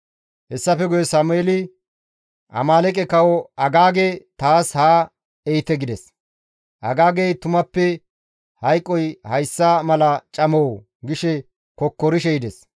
Hessafe guye Sameeli, «Amaaleeqe kawo Agaage taas haa ehite» gides; Agaagey, «Tumappe hayqoy hayssa mala camoo?» gi kokkorishe yides.